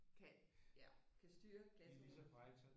Kan ja kan styre klasse